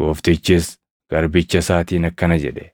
“Gooftichis garbicha isaatiin akkana jedhe;